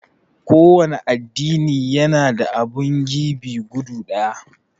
kowanne addini yana da abun gebe guda ɗaya